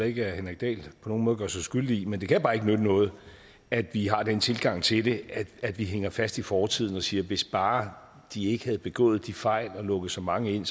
ikke at henrik dahl på nogen måde gør sig skyldig i men det kan bare ikke nytte noget at vi har den tilgang til det at vi hænger fast i fortiden og siger hvis bare de ikke havde begået de fejl og lukket så mange ind